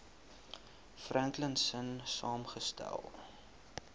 franklin sonn saamgestel